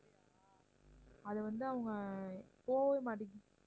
அது வந்து அவங்க போகவே மாட்டேங்குது